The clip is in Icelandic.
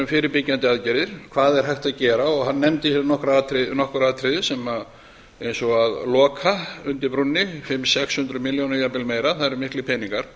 fyrirbyggjandi aðgerðir hvað er hægt að gera hann nefndi nokkur atriði eins og að loka undir brúnni fimm hundruð til sex hundruð milljóna jafnvel meira það eru miklir peningar